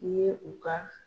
U ye u ka